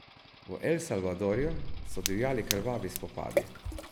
V El Salvadorju so divjali krvavi spopadi.